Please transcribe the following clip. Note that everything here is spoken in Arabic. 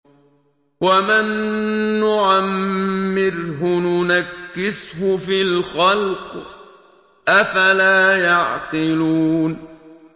وَمَن نُّعَمِّرْهُ نُنَكِّسْهُ فِي الْخَلْقِ ۖ أَفَلَا يَعْقِلُونَ